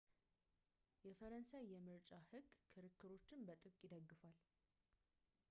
የፈረንሣይ የምርጫ ሕግ ክርክሮችን በጥብቅ ይደግፋል